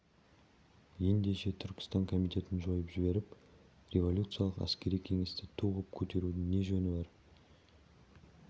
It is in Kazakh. ендеше түркістан комитетін жойып жіберіп революциялық әскери кеңесті ту ғып көтерудің не жөні бар